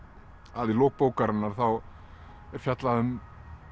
að við lok bókarinnar þá er fjallað um